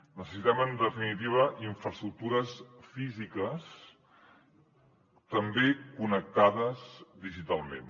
necessitem en definitiva infraestructures físiques també connectades digitalment